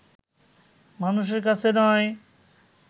মানুষের কাছে নয়